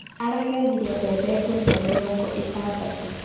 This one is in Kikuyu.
Aragethire mbebe ngũnia mĩrongo ĩtandatũ